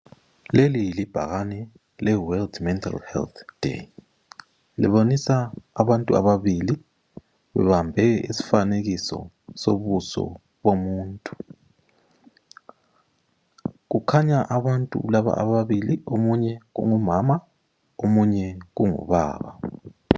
Leli libhakani le World Mental Health Day, libonisa abantu ababili bebambe isifanekiso sobuso bomuntu. Kukhanya abantu laba ababili omunye kungumama omunye kungubaba.